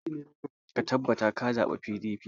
Ka tabbata ka zaɓa PDP!